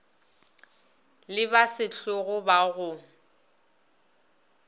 le ba sehlogo ba go